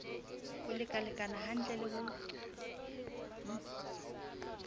ho lekalekana hantle le ho